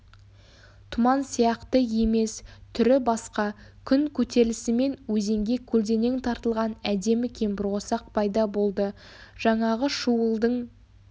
тұман сияқты емес түрі басқа күн көтерілісімен өзенге көлденең тартылған әдемі кемпірқосақ пайда болды жаңағы шуылдың